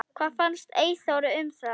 Hvað fannst Eyþóri um það?